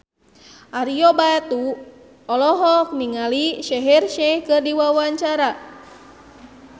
Ario Batu olohok ningali Shaheer Sheikh keur diwawancara